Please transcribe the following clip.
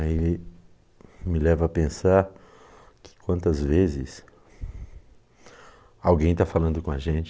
Aí me leva a pensar que quantas vezes alguém está falando com a gente